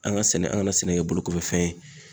An ka sɛnɛ an kana sɛnɛ kɛ bolokɔfɛ fɛn ye.